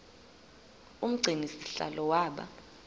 umgcini sihlalo waba